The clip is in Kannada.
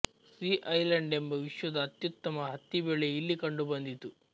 ಸೀ ಐಲೆಂಡ್ ಎಂಬ ವಿಶ್ವದ ಅತ್ಯುತ್ತಮ ಹತ್ತಿಬೆಳೆ ಇಲ್ಲಿ ಕಂಡುಬಂದಿತು